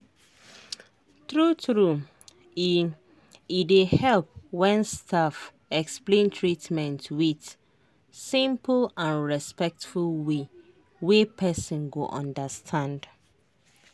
true true e e dey help when staff explain treatment with simple and respectful way wey person go understand.